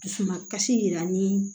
Dusu ma kasi yira an ni